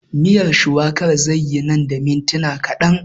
Miyar shuwakar zai yi nan da mintuna kaɗan